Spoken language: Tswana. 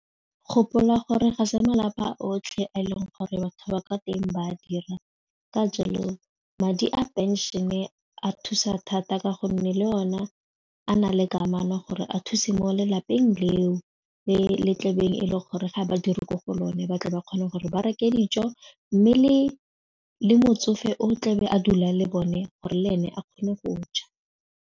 Gopola gore ga se malapa otlhe a e leng gore batho ba ka teng ba a dira ka jalo madi a pension-e a thusa thata ka gonne le one a nale kamano gore a se mo lelapeng leo le le tlabeng e le gore ga ba dire mo go lone ba tle ba kgone gore ba reke dijo mme le motsofe o tlebe a dulang le bone gore le ene a kgone go ja.